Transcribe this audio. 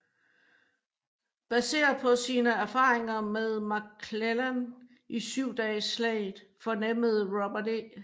Baseret på sine erfaringer med McClellan i Syv dages slaget fornemmede Robert E